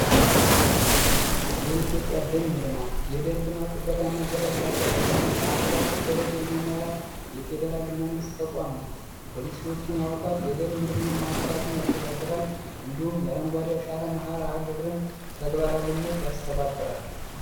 የኢትዮጵያ ደን ልማት የደን ልማት ጥበቃ እናት ዘላቂ ያጠቃቀምን በሀገር አቀፍ ደረጃ የሚመራ የፌዴራል መንግሥት ተቋም ነው ፖሊሲዎችን ያወጣል የደን ምርምር ማዕከላትን ያስተዳድራል እንዲሁም የአረንጓዲያ ሻራ መህር አህ ግብርን ተግባራዊነት ያስተባብራል፡፡